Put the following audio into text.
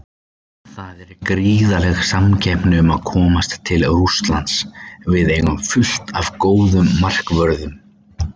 Það er gríðarleg samkeppni um að komast til Rússlands, við eigum fullt af góðum markvörðum.